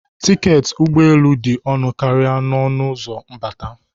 Tiketi ụgbọ elu dị ọnụ karịa n'ọnụ ụzọ mbata.